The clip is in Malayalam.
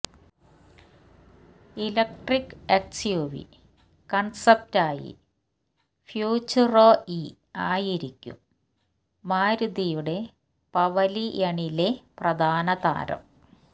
ഇലക്ട്രിക് എസ്യുവി കൺസെപ്റ്റായി ഫ്യൂച്ച്യുറോ ഇ ആയിരിക്കും മാരുതിയുടെ പവലിയണിലെ പ്രധാനതാരം